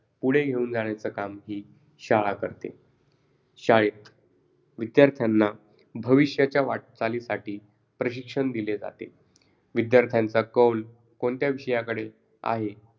पुढे घेऊन जाण्याचं काम हि शाळा करते. शाळेत विद्यार्थ्यांना भविष्याच्या वाटचालीसाठी प्रशिक्षण दिले जाते. विद्यार्थ्यांचा कौल कोणत्या विषयाकडे आहे,